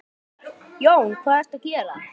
Jón: Hvað ertu að gera?